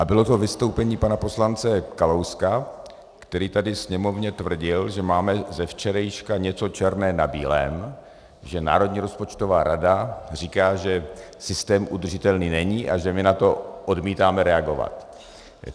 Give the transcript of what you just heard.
A bylo to vystoupení pana poslance Kalouska, který tady Sněmovně tvrdil, že máme ze včerejška něco černé na bílém, že Národní rozpočtová rada říká, že systém udržitelný není, a že my na to odmítáme reagovat.